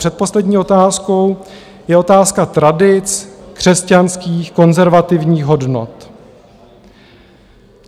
Předposlední otázkou je otázka tradic křesťanských konzervativních hodnot.